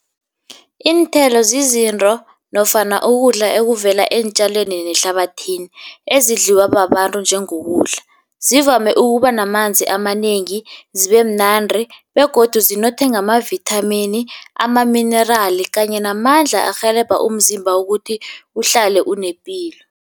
Iinthelo zizinto nofana ukudla ekuvela eentjaleni nehlabathini, ezidliwa babantu njengokudla. Zivame ukuba namanzi amanengi, zibe mnandi begodu zinothe ngamavithamini, amaminerali kanye namandla arhelebha umzimba ukuthi uhlale unepilo.